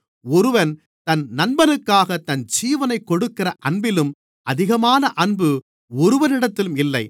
ஒருவன் தன் நண்பனுக்காகத் தன் ஜீவனைக் கொடுக்கிற அன்பிலும் அதிகமான அன்பு ஒருவரிடத்திலும் இல்லை